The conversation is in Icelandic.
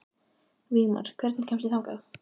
Vígmar, hvernig kemst ég þangað?